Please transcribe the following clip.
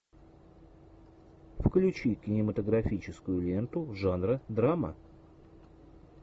включи кинематографическую ленту жанра драма